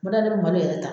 N man da yɛrɛ ta